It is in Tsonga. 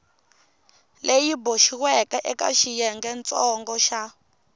leyi boxiweke eka xiyengentsongo xa